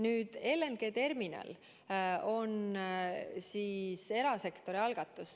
Nüüd, LNG terminal on erasektori algatus.